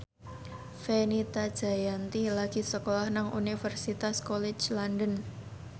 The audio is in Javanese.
Fenita Jayanti lagi sekolah nang Universitas College London